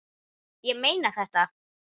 Ég meina þetta.